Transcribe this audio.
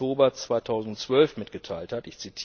2. Oktober 2012 mitgeteilt hat.